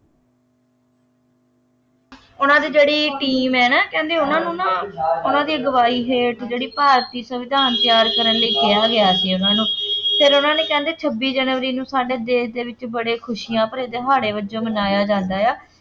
ਉਹਨਾ ਦੀ ਜਿਹੜੀ ਟੀਮ ਹੈ ਨਾ ਕਹਿੰਦੇ ਉਹਨਾ ਨੂੰ ਨਾ ਉਹਨਾ ਦੀ ਅਗਵਾਈ ਹੇਠ ਜਿਹੜੀ ਭਾਰਤੀ ਸੰਵਿਧਾਨ ਤਿਆਰ ਕਰਨ ਲਈ ਕਿਹਾ ਗਿਆ ਸੀ ਉਹਨਾ ਨੂੰ, ਫੇਰ ਉਹਨਾ ਨੇ ਕਹਿੰਦੇ ਛੱਬੀ ਜਨਵਰੀ ਨੂੰ ਸਾਡੇ ਦੇਸ਼ ਦੇ ਵਿੱਚ ਬੜੇ ਖੁਸ਼ੀਆਂ ਭਰੇ ਦਿਹਾੜੇ ਵਜੋਂ ਮਨਾਇਆ ਜਾਂਦਾ ਹੈ।